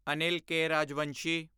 Anil K. Rajvanshi